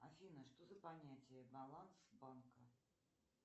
афина что за понятие баланс банка